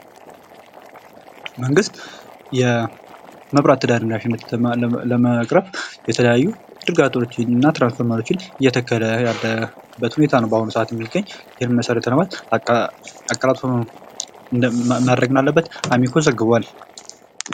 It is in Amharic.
መንግስት የመብራት ተደራሽነትን ለመቅረብ የተለያዩ ዝርጋታዎችን እና ትራንስፈርመሮችን እየተከለ ያለበት ሁኔታ ነው የሚገኝ በአሁኑ ሰዓት የሚገኝ ይህንንም መሰረተ ልማት አቀላጥፎ ማድረግ እንዳለበት አሚኮ ዘግቧል።